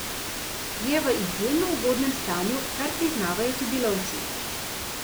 Je v izjemno ugodnem stanju, kar priznavajo tudi lovci.